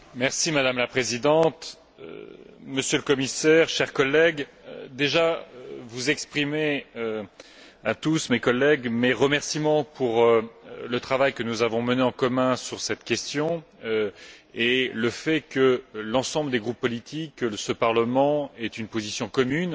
Madame la Présidente, Monsieur le Commissaire, chers collègues, je voudrais déjà exprimer à tous mes collègues mes remerciements pour le travail que nous avons mené en commun sur cette question, qui a permis que l'ensemble des groupes politiques de ce Parlement ait une position commune